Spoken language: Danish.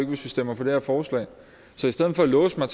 vi stemmer for det her forslag så i stedet for at låse mig